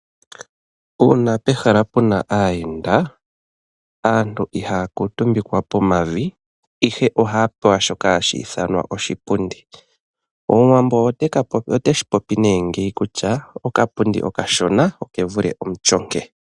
Uuna pehala puna aayenda aantu ihaya kuutumbikwa pomavi ihe ohaya pewa shoka hashi ithanwa oshipundi. Omuwambo oteshi popi nee ngeyi kutya okapundi okashona oke vule omutyonke.